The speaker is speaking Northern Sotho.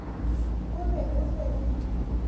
o be o fe le